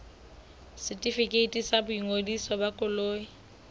setefikeiti sa boingodiso ba koloi